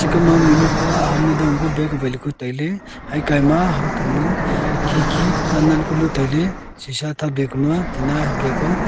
achuka ma mihnu ta aham le dongku leka bag awai leku tailey aya kaima hamthanu khikhi nannan kanu tailey shisha ta doi kanua tinna hub lekua.